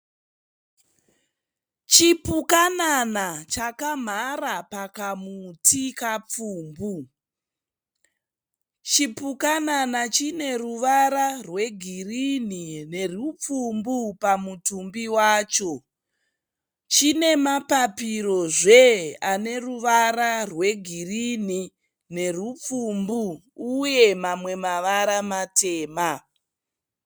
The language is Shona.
Chipukanana chakamhara pakamuti kapfumbu. Chipukanana chine ruvara rwe girinhi nerupfumbu pamutumbi wacho. Chine mapapiro zve aneruvarara rwe girinhi nerupfumbu uye mamwe mavara matema.